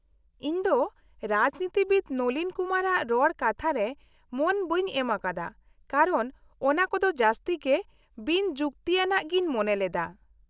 -ᱤᱧ ᱫᱚ ᱨᱟᱡᱽᱱᱤᱛᱤᱵᱤᱫ ᱱᱚᱞᱤᱱ ᱠᱩᱢᱟᱨᱼᱟᱜ ᱨᱚᱲ ᱠᱟᱛᱷᱟᱨᱮ ᱢᱚᱱ ᱵᱟᱹᱧ ᱮᱢᱟᱠᱟᱣᱫᱟ ᱠᱟᱨᱚᱱ ᱚᱱᱟᱠᱚᱫᱚ ᱡᱟᱹᱥᱛᱤ ᱜᱮ ᱵᱤᱱᱼᱡᱩᱠᱛᱤᱭᱟᱱᱟᱜ ᱜᱤᱧ ᱢᱚᱱᱮ ᱞᱮᱫᱟ ᱾